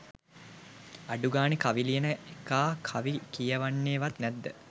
අඩු ගානෙ කවි ලියන එකා කවි කියවන්නෙවත් නැද්ද?